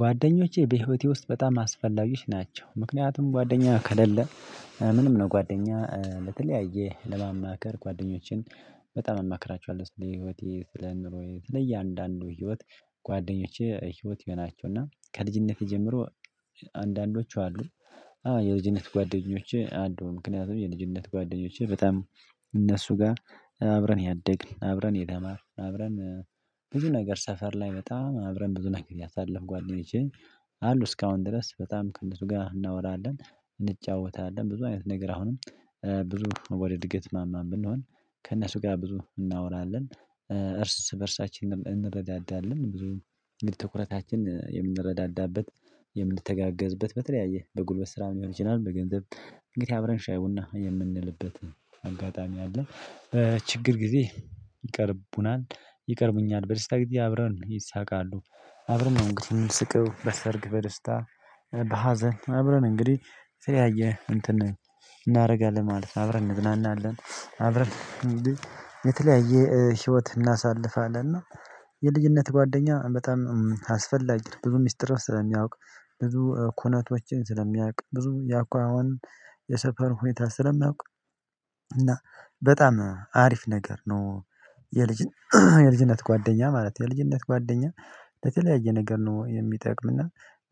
ጓደኞቼ በህይወቴ ውስጥ በጣም አስፈላጊዎች ናቸው። ምክንያቱም ጓደኛ ከሌለ ምንም ነው ጓደኛ ለተለያየ ለማማከር ጓደኞቼን በጣም አማክራቸዋለሁ። ስለ ህይወቴ ስለ ኑሮዬ ሰለ እያንዳንዱ ህይወት ጓደኞቼ ህይወቴ ናቸውና ከልጅነቴ ጀምሮ አንዳንዶቹ አሉ። የልጅነት ጓደኞቼ አሉ ምክንያቱም የልጅነት ጓደኞቼ በጣም። እነሱ ጋር አብረን ያደግን አብረን የታማርን አብረን ብዙ ነገር ሰፈር ላይ በጣም አብረን ብዙ ነገር ያሳለፍኩ ጓደኞቼ። አሉ እስካሁን ድረስ በጣም ከነሱ ጋር እናወራለን እንጫወታለን ብዙ አይነት ነገር አሁንም ብዙ ወደ እድገት ማማም ብንሆን ከእነሱ ጋር ብዙ እናወራለን። እርስ በእርሳችን እንረዳዳለን ብዙ እንግዲህ ትኩረታችን የምንረዳዳበት የምንተጋገዝበት በተለያየ በጉልበት ስራ ሊሆን ይችላል። በገንዘብ እንግዲህ አብረን ሻይ ቡና የምንልበት አጋጣሚ አለ። ችግር ጊዜ ይቀርቡናል ይቀርቡኛል በደስታ ጊዜ አብረን ይሳቃሉ። አብረን እምንስቅው በሰርግ በደስታ በሀዘን አብረን እንግዲህ የተለያየ እንትን እናደርጋለን ማለት ነው። አብረን እንዝናናለን አብረን የተለያየ ህይወት እናሳልፋለን። እና የልጅነት ጓደኛ በጣም አስፈላጊ ብዙ ሚስጥር ስለሚያውቅ ብዙ ኩነቶችን ስለሚያውቅ ብዙ የአኳኋን የሰፈር ሁኔታ ስለማውቅ እና በጣም አሪፍ ነገር ነው። የልጅነት የልጅነት ጓደኛ ማለት የልጅነት ጓደኛ በተለያየ ነገር ነው። የሚጠቅምና